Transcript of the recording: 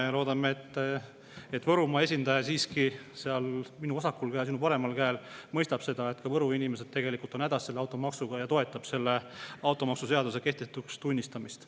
Ja loodame, et Võrumaa esindaja minu vasakul käel, sinu paremal käel siiski mõistab seda, et ka Võru inimesed on hädas selle automaksuga, ja toetab automaksuseaduse kehtetuks tunnistamist.